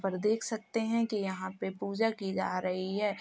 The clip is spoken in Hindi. पर देख सकते हैं कि यहां पे पूजा की जा रही है।